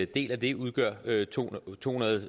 del af det udgør to hundrede